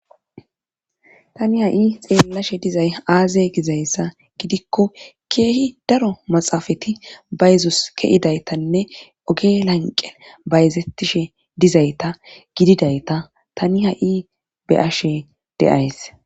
Tani ha7i xeellashe dizay aaze gizayssa gidikko keehi daro maxaafati bayezos keidaytanne oge lanqen bayzettishe dizayta gididayta tani ha7i be ashe deays.